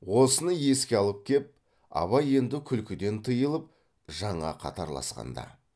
осыны еске алып кеп абай енді күлкіден тыйылып жаңа қатарласқанда